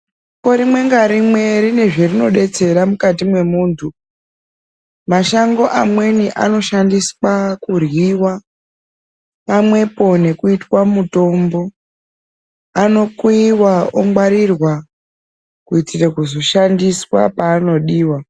Shango rimwe narimwe rine zvarinodetsera mukati mwemuntu. Mashango mamweni anoshandiswa kuryiwa pamwepo nekuitwa mutombo. Anokuyiwa, ongwarirwa kuitire kuzoshandiswa parinodiwa.